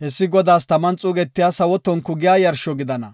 hessi Godaas taman xuugetiya sawo tonku giya yarsho gidana.